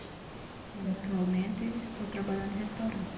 E atualmente estou trabalhando em restaurante.